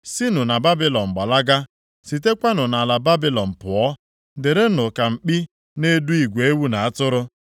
“Sinụ na Babilọn gbalaga; sitekwanụ nʼala Babilọn pụọ, dịrịnụ ka mkpi na-edu igwe ewu na atụrụ.